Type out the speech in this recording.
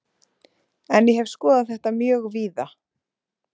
En ég hef skoðað þetta mjög víða.